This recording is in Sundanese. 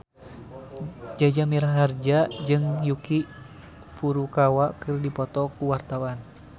Jaja Mihardja jeung Yuki Furukawa keur dipoto ku wartawan